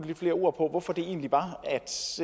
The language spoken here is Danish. lidt flere ord på hvorfor det egentlig var